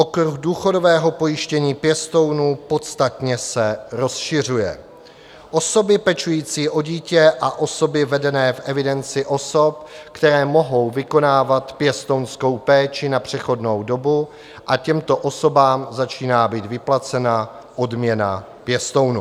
Okruh důchodového pojištění pěstounů podstatně se rozšiřuje, osoby pečující o dítě a osoby vedené v evidenci osob, které mohou vykonávat pěstounskou péči na přechodnou dobu, a těmto osobám začíná být vyplácena odměna pěstounů.